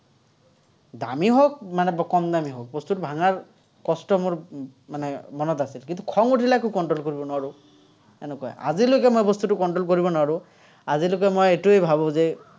দামী হওক, মানে কম দামী হওক, বস্তুটো মানে মনত আছে। কিন্তু, খং উঠিলে আকৌ control কৰিব নোৱাৰো, এনেকুৱা। আজিলৈকে মই বস্তুটো control কৰিব নোৱাৰো। আজিলৈকে মই এইটোৱেই ভাৱো যে